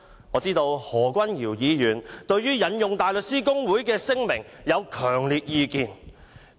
我知道何君堯議員對於引用大律師公會的聲明有強烈意見。